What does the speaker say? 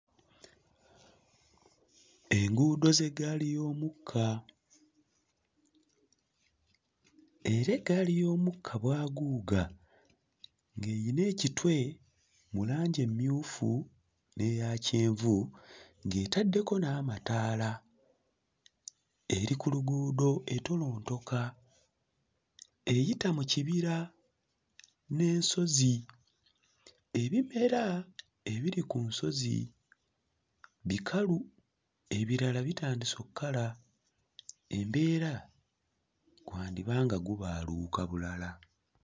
Enguudo z'eggaali y'omukka era eggaali y'omukka bwaguuga ng'eyina ekitwe mu langi emmyufu n'eyakyenvu ng'etaddeko n'amataala eri ku luguudo entolontoka, eyita mu kibira n'ensozi. Ebimera ebiri ku nsonzi bikalu ebirala bitandise okukala, embeera gwandiba nga gubaaluuka bulala.